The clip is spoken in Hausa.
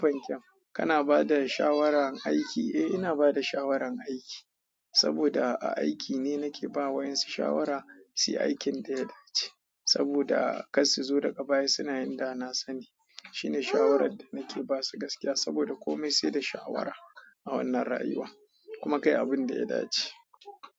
Kana bada shawarar aiki. Eh ina bada shawaran aiki, saboda a aiki ne nake ba wa yansu shawara, shi aikin dai ya dace. Saboda kar su zo daga baya suna da na sani. Shine shawarar da nake basu gaskiya saboda kome sai da shawara a wannan rayuwa. Kuma kai abun da ya dace.